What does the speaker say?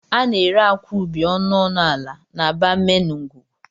A na-ere akwa ubi ọnụ ọnụ ala n'aba main ngwugwu.